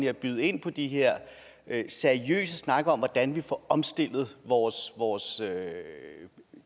at byde ind på de her seriøse snakke om hvordan vi får omstillet vores vores